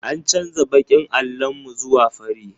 An canza baƙin allon mu zuwa fari.